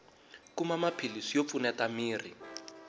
kuma maphilisi yo pfuneta miri